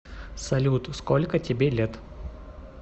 салют сколько тебе лет